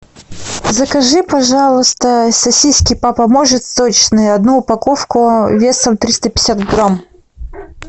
закажи пожалуйста сосиски папа может сочные одну упаковку весом триста пятьдесят грамм